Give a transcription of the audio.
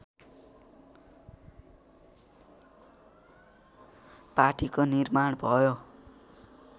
पार्टीको निर्माण भयो